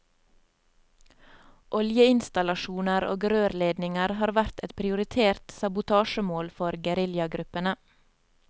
Oljeinstallasjoner og rørledninger har vært et prioritert sabotasjemål for geriljagruppene.